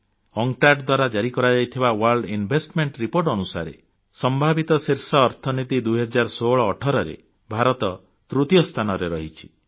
UNCTAD ଦ୍ୱାରା ଜାରି କରାଯାଇଥିବା ୱର୍ଲ୍ଡ ଇନଭେଷ୍ଟମେଣ୍ଟ ରିପୋର୍ଟ ଅନୁସାରେ ସମ୍ଭାବିତ ଶୀର୍ଷ ଅର୍ଥବ୍ୟବସ୍ଥା 201618 ରେ ଭାରତ ତୃତୀୟ ସ୍ଥାନରେ ରହିଛି